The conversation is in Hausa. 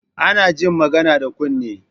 Ana jin magana da kunne